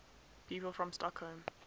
people from stockholm